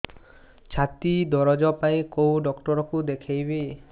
ଛାତି ଦରଜ ପାଇଁ କୋଉ ଡକ୍ଟର କୁ ଦେଖେଇବି